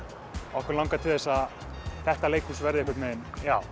okkur langar til að þetta leikhús verði einhvern veginn